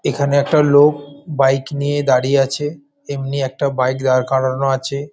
এখানে একটা লোক বাইক নিয়ে দাঁড়িয়ে আছে এমনি একটা বাইক দাঁড় করানো আছে ।